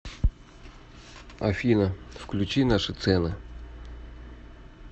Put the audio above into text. афина включи наши цены